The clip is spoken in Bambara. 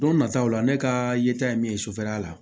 Don nataw la ne ka yeta ye min ye sufɛla la